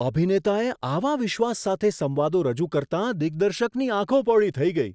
અભિનેતાએ આવા વિશ્વાસ સાથે સંવાદો રજૂ કરતાં દિગ્દર્શકની આંખો પહોળી થઈ ગઈ.